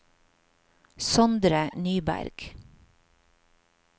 Sondre Nyberg